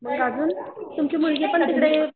मग अजून तुमची मुलगीपण तिकडे